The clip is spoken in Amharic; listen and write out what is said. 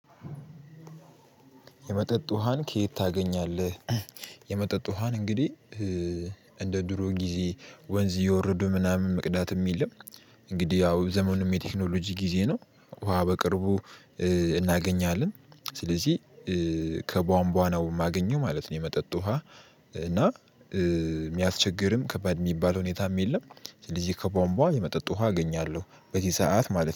የመጠጥ ውሃን ከየት ታገኛለህ? የመጠጥ ውሃን እንግዲህ እንደ ድሮ ጊዜ ወንዝ የወረዱ ምናምን መቅዳትም የለም እንግዲህ ያው ዘመኑም የቴክኖሎጂ ጊዜ ነው ውሃ በቅርቡ እናገኛለን ስለዚህ ከቧንቧ ነው የማገኘው ማለት ነው የመጠጥ ውሃ። እና የምያስቸግርም ከባድ የምባል ሁኔታም የለም። እንግዲህ ከቧንቧ የመጠጥ ውሃ አገኛለው። በዚህ ሰዓት ማለት ነው።